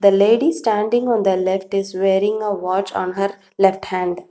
The ladies standing on the left he is wearing a watch on her left hand.